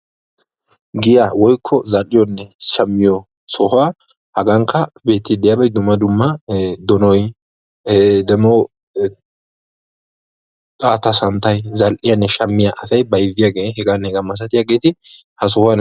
Giyaa woykko zal'iyonne shammiyo sohuwan dumma dumma zal'iyo miishshatti donuwa milattiyagetti de'osonna.